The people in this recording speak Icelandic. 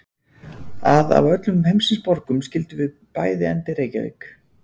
Að af öllum heimsins borgum skyldum við bæði enda í Reykjavík.